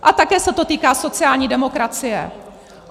A také se to týká sociální demokracie.